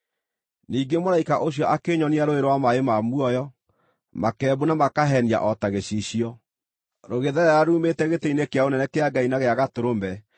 Ningĩ mũraika ũcio akĩnyonia rũũĩ rwa maaĩ ma muoyo, makembu na makahenia o ta gĩcicio, rũgĩtherera ruumĩte gĩtĩ-inĩ kĩa ũnene kĩa Ngai na gĩa Gatũrũme